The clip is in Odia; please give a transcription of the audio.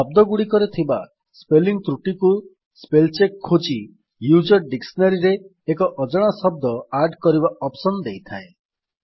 ଶବ୍ଦଗୁଡିକରେ ଥିବା ସ୍ପେଲିଙ୍ଗ୍ ତ୍ରୁଟିକୁ ସ୍ପେଲ୍ ଚେକ୍ ଖୋଜି ୟୁଜର୍ ଡିକ୍ସିନାରୀରେ ଏକ ଅଜଣା ଶବ୍ଦ ଆଡ୍ କରିବାର ଅପ୍ସନ୍ ଦେଇଥାଏ